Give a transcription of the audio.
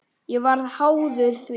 Ég varð háður því.